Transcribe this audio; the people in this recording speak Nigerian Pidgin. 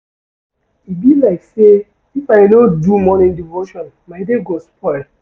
E be like sey if I no do morning devotion my day go spoil.